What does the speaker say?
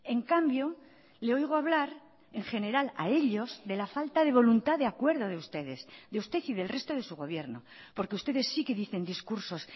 en cambio le oigo hablar en general a ellos de la falta de voluntad de acuerdo de ustedes de usted y del resto de su gobierno porque ustedes sí que dicen discursos